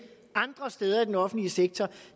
andre steder i den offentlige sektor